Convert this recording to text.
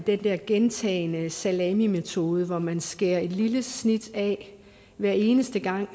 den der gentagne salamimetode hvor man skærer et lille snit af hver eneste gang